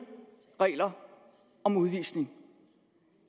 regler om udvisning